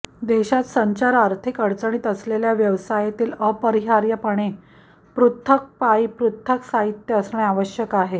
देशात संचार आर्थिक अडचणीत आलेल्या व्यवसायातील अपरिहार्यपणे पृथक् पाईप पृथक् साहित्य असणे आवश्यक आहे